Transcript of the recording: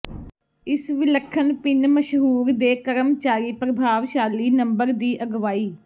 ਇਸ ਵਿਲੱਖਣ ਭਿਨ ਮਸ਼ਹੂਰ ਦੇ ਕਰਮਚਾਰੀ ਪ੍ਰਭਾਵਸ਼ਾਲੀ ਨੰਬਰ ਦੀ ਅਗਵਾਈ